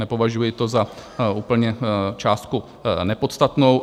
Nepovažuji to za úplně částku nepodstatnou.